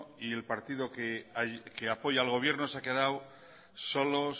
el partido que apoya al gobierno se han quedado solos